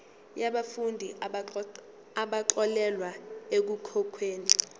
yabafundi abaxolelwa ekukhokheni